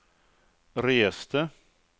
reste